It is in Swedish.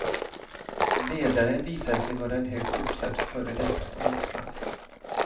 Ledaren visade sig vara en högt uppsatt före detta polisman.